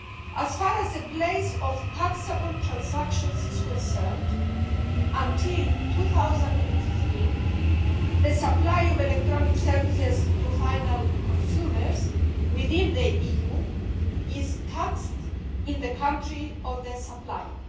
As far as the place of taxable transactions is concerned, until 2015 the supply of electronic services to final consumers within the EU is taxed in the country of the supplier.